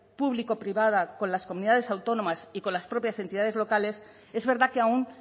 público privada con las comunidades autónomas y con las propias entidades locales es verdad que aún